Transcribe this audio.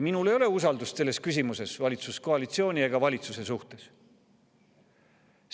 Minul ei ole selles küsimuses usaldust valitsuskoalitsiooni ega valitsuse vastu.